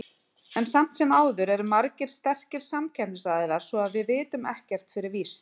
En samt sem áður eru margir sterkir samkeppnisaðilar, svo að við vitum ekkert fyrir víst.